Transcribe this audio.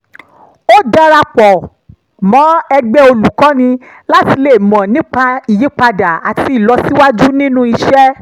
ó dara pọ̀ mọ́ ẹgbẹ́ olùkọ́ni láti lè mọ̀ nípa ìyípadà àti ìlọsíwájú nínú iṣẹ́